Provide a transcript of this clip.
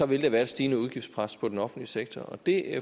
vil der være et stigende udgiftspres på den offentlige sektor og det